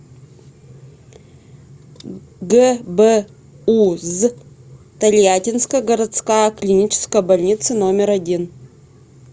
гбуз тольяттинская городская клиническая больница номер один